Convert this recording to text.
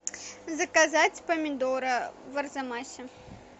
заказать помидоры в арзамасе